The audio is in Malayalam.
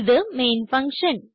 ഇത് മെയിൻ ഫങ്ഷൻ